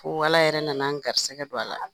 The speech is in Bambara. Fo Ala yɛrɛ nana an garisɛgɛ don a la,